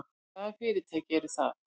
Hvaða fyrirtæki eru það?